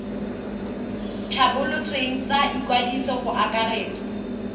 tlhabolotsweng tsa ikwadiso go akaretsa